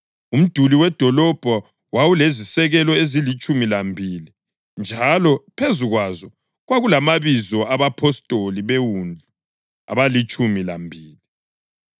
Umduli wedolobho wawulezisekelo ezilitshumi lambili njalo phezu kwazo kwakulamabizo abapostoli beWundlu abalitshumi lambili.